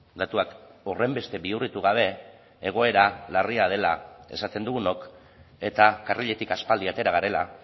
datuak horrenbeste bihurritu gabe egoera larria dela esaten dugunok eta karriletik aspaldi atera garela